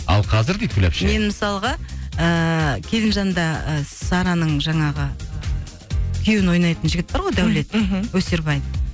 ал қазір дейді гүл әпше мен мысалға ыыы келінжанда ы сараның жаңағы күйеуін ойнайтын жігіт бар ғой даулет мхм өсербай